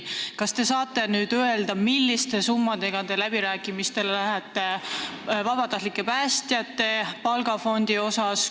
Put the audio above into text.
Kas te saate nüüd öelda, milliseid summasid te läbirääkimistele küsima lähete vabatahtlike päästjate palgafondi?